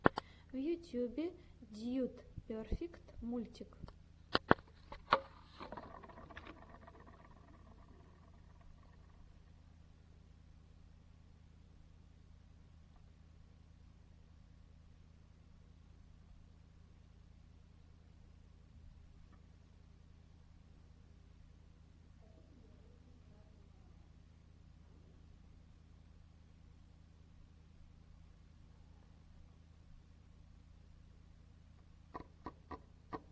в ютубе дьюд перфект мультик